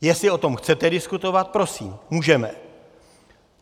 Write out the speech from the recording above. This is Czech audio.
Jestli o tom chcete diskutovat, prosím, můžeme.